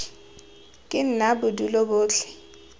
ke nna bo dule botlhe